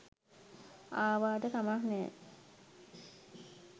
ආවාට කමක් නෑ